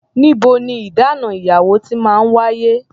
Níbo ní ìdáná ìyàwó ti máa ń wáyé?